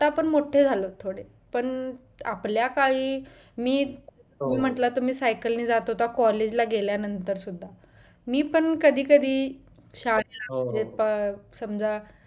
आता आपण मोठे झालोत थोडे पण आपल्या काळी मी तुम्ही म्हटलं तुम्ही सायकलने जात होता college ला गेल्यानंतर सुद्धा मी पण कधी कधी शाळेत समाजा